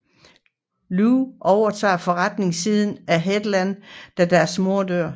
Lou overtager forretningsiden af Heartland da deres mor dør